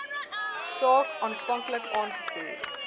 saak aanvanklik aangevoer